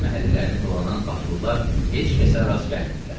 Fəhlə məhəllələrini dolanan patrollar heç kəsə rast gəlmirdilər.